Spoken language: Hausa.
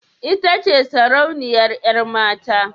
Ita ce sarauniyar yar mata?